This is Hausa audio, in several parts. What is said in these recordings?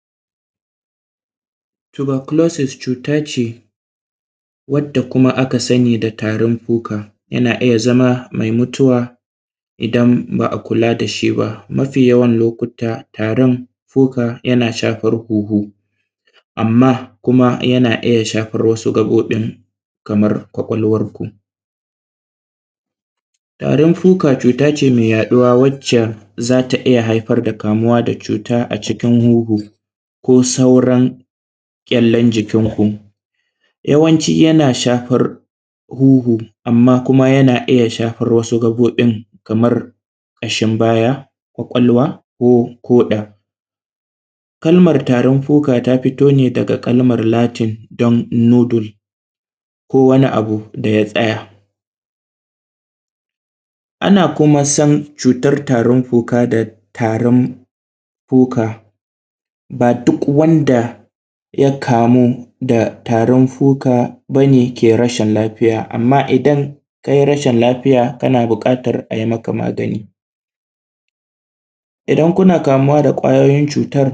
yanda ake gane mutum ya ƙware shi ne, za a ga mutum yana tari sannan kuma yana neman yayi Magana ya kasa wani lokaci a ga mutum ya fara canza kala, wani lokaci a ga gaba ɗaya abu ya maƙale ainin mutum ya kasa Magana, taimakon gaggawan da za ai ma wanda ya ƙware shi ne a tsugunnan da shi a bubbuga masa bayansa ko kuma in yara ne ai maza a kira “emergency” ko kuma suma a bubbuga bayansu. ana kuma san cutar tarin fuka da tarin fuka ba duk wanda ya kamu da tarin fuka bane ke rashin lafiya amma idan kai rashin lafiya kana buƙatar aim aka magani, idan kuna kamuwa da ƙwayoyin cutar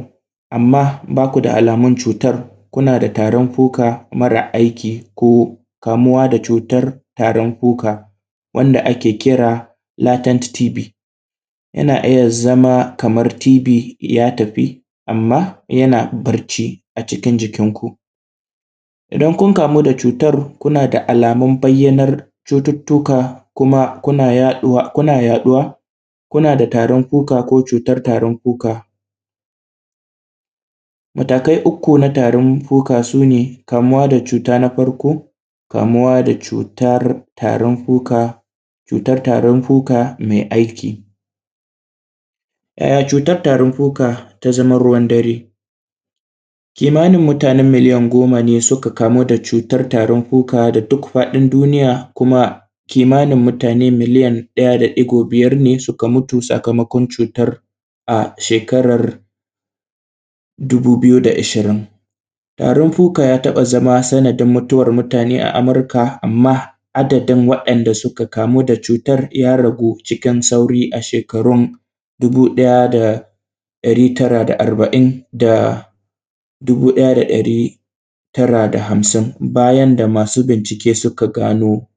amma baku da alamun cutar kuna da tarin fuka marar aiki ko kamuwa da cutar tarin fuka wanda ake kira Latin TV yana iya zama kamar tv ya tafi amma yana barci a cikin jikin ku, idan kun kamu da cutar kuna da alamun bayyanar cututtuka kuma kuna yaɗuwa kuna yaɗuwa kuna da cutar tarin fuka ko cutar tarin fuka matakai uku na tarin fuka sune kamuwa da cuta na farko, kamuwa da cutar tarin fuka cutar tarin fuka mai aiki, yaya cutar tarin fuka ta zama ruwan dare? Kimanin mutane miliyan goma ne suka kamu da cutar tarin fuka da duk faɗin duniya kuma kimanin mutane miliya ɗaya da ɗigo biyar ne suka mutu sakamakon cutar a shekarar dubu biyu da ishirin, tarin fuka ya taɓa zama sanadin mutuwan mutane a amurika amma adadin waɗanda suka kamu da cutar ya ragu cikin sauri a shekarun dubu ɗaya da ɗari tara da arba`in da dubu ɗaya da ɗari tara da hamsin bayan da masu bincike suka gano.